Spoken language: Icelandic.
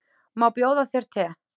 Má bjóða þér te?